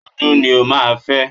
Dúdú ni o máa fẹ́